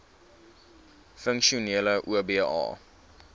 funksionele oba